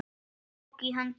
Hún tók í hönd hans.